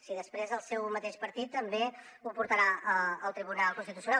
si després el seu mateix partit també ho portarà al tribunal constitucional